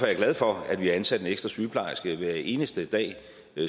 er glad for at vi har ansat ekstra sygeplejerske hver eneste dag